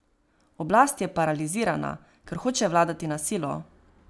Oblast je paralizirana, ker hoče vladati na silo.